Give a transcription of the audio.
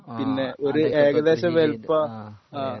ആ ആ അതെ അതെ